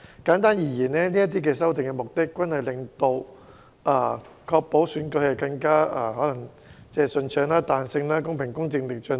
簡單而言，這些修訂的目的均是確保選舉更順暢、有彈性和公平公正地進行。